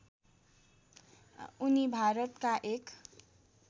उनी भारतका एक